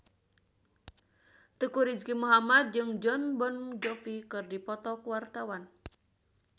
Teuku Rizky Muhammad jeung Jon Bon Jovi keur dipoto ku wartawan